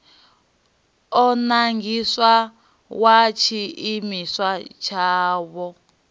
o nangiwaho wa tshiimiswa tshavho